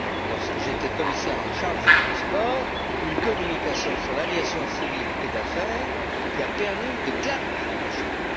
moi même, lorsque j'étais commissaire en charge des transports, une communication sur l'aviation civile et d'affaires qui a permis de clarifier les